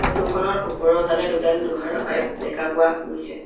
Photo খনৰ ওপৰৰফালে দুডাল লোহাৰ' পাইপ দেখা পোৱা গৈছে।